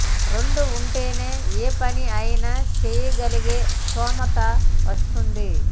రెండూ ఉంటేనే ఏ పని అయినా చెయ్యగలిగే స్తోమత వస్తుంది